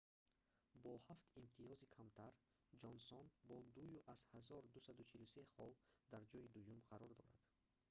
бо ҳафт имтиёзи камтар ҷонсон бо 2,243 хол дар ҷойи дуюм қарор дорад